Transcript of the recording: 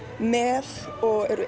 með og